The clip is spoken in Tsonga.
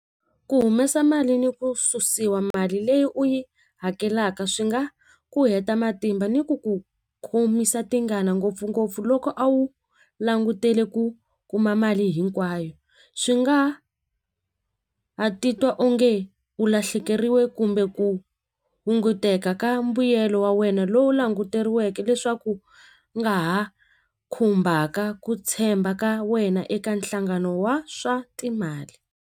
Ku humesa mali ni ku susiwa mali leyi u yi hakelaka swi nga ku heta matimba ni ku ku khomisa tingana ngopfungopfu loko a wu langutele ku kuma mali hinkwayo swi nga ha titwa onge u lahlekeriwe kumbe ku hunguteka ka mbuyelo wa wena lowu languteriweke leswaku u nga ha khumbaka ku tshemba ka wena eka nhlangano wa swa timali.